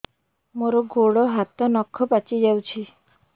ମୋର ଗୋଡ଼ ହାତ ନଖ ପାଚି ଯାଉଛି